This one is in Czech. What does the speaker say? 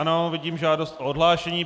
Ano, vidím žádost o odhlášení.